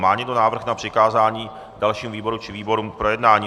Má někdo návrh na přikázání dalšímu výboru či výborům k projednání?